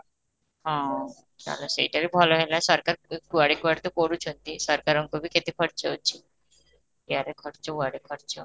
ହଁ, ଚାଲ ସେଇଟା ବି ଭଲ ହେଲା ସରକାର ଏ କୁଆଡେ କୁଆଡେ ତ କରୁଛନ୍ତି ସରକାରଙ୍କ ବି କେତେ ଖର୍ଚ୍ଚ ଅଛି, ଏଇଆଡେ ଖର୍ଚ୍ଚ ଆଡେ ଖର୍ଚ୍ଚ